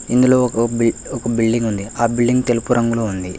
ఇందులో ఒక బిల్డింగ్ ఉంది ఆ బిల్డింగ్ తెలుపు రంగులో ఉంది.